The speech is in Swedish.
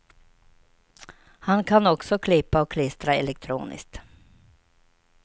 Han kan också klippa och klistra elektroniskt.